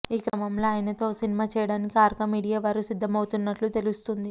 ఈ క్రమంలో ఆయనతో ఓ సినిమా చేయడానికి ఆర్కా మీడియా వారు సిద్దమవుతున్నట్లు తెలుస్తుంది